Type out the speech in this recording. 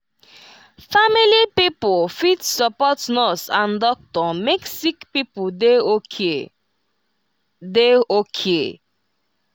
family pipo fit support nurse and doctor make sick pipo dey okay. dey okay.